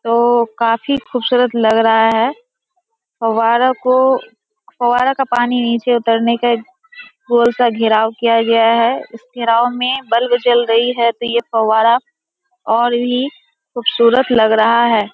वो काफी खूबसूरत लग रहा है फुहारा को फुहारा का पानी नीचे उतरने का गोल सा घेराव किया गया है इस घेराव में बल्ब जल रही है तो ये फुहारा और भी खूबसूरत लग रहा है।